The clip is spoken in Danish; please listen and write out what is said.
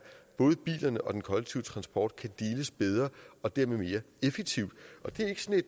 både bilerne og den kollektive transport kan deles bedre og dermed mere effektivt